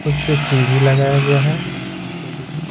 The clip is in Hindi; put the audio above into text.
उस पे सीढ़ी लगाया गया है।